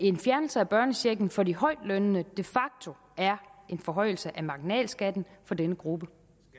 en fjernelse af børnechecken for de højtlønnede de facto er en forhøjelse af marginalskatten for denne gruppe